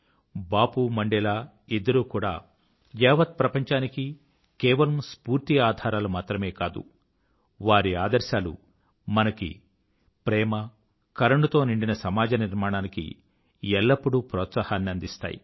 Bapu Mandela ఇద్దరూ కూడా యావత్ ప్రపంచానికీ కేవలం స్ఫూర్తికి ఆధారాలు మాత్రమే కాదు వారి ఆదర్శాలు మనకు ప్రేమ కరుణ తో నిండిన సమాజ నిర్మాణానికి ఎల్లప్పూడూ ప్రోత్సాహాన్ని అందిస్తాయి